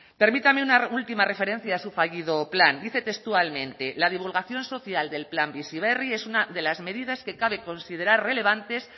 permítame una última referencia a su fallido plan dice textualmente la divulgación social del plan bizi berri es una de las medidas que cabe considerar relevantes